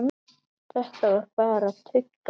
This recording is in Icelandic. Þetta var bara tugga.